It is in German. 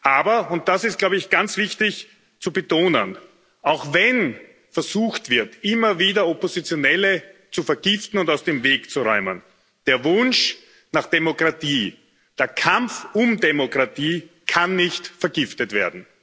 Aber und das ist, glaube ich, ganz wichtig zu betonen auch wenn versucht wird, immer wieder Oppositionelle zu vergiften und aus dem Weg zu räumen, der Wunsch nach Demokratie, der Kampf um Demokratie kann nicht vergiftet werden.